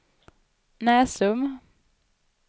Näsum